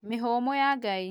Mĩhũmũ ya Ngai